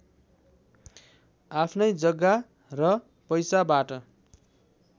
आफ्नै जग्गा र पैसाबाट